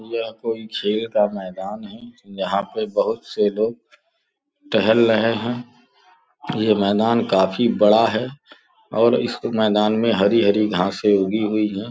यह कोई खेल का मैदान यहां पे बहुत से लोग टहल लहे हैं यह मैदान काफी बड़ा है और इस मैदान में हरी हरी घांसे उगी हुई है।